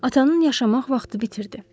Atanın yaşamaq vaxtı bitirdi.